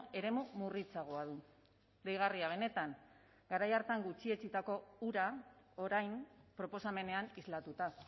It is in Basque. eremu murritzagoa du deigarria benetan garai hartan gutxietsitako hura orain proposamenean islatuta